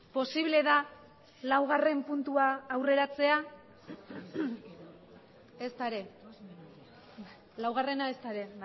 posible da laugarren puntua aurreratzea ezta ere laugarrena ezta ere